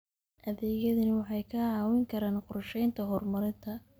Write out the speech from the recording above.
Adeegyadani waxay kaa caawin karaan qorsheynta horumarinta.